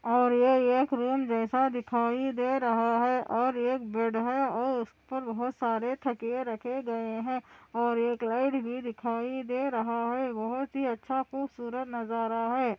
और यह ये एक रूम जैसा दिखाई दे रहा है और एक बेड है और उसपर बहुत सरे थकिये रखे गए है और एक लाइट भी दिखाई दे रहा है बहुत ही अच्छा खूबसूरत नजारा है|